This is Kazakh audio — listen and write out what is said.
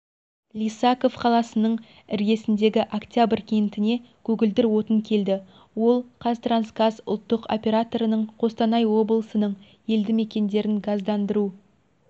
лисаков қаласының іргесіндегі октябрь кентіне көгілдір отын келді ол қазтрансгаз ұлттық операторының қостанай облысының елді-мекендерін газдандыру